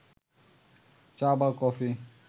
চা বা কফি